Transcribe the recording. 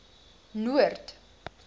noord